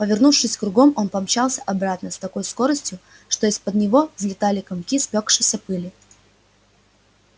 повернувшись кругом он помчался обратно с такой скоростью что из-под него взлетали комки спёкшейся пыли